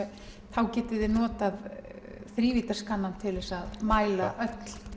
þá getiði notað til að mæla öll